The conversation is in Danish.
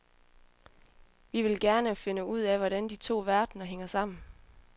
Vi vil gerne finde ud af, hvordan de to verdener hænger sammen.